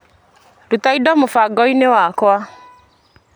Ruta indo mũbango-inĩ wakwa .